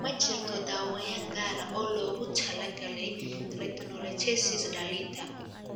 Ma jirto daaweyn gaar ah oo loogu talagalay retinoschisis dhallinta.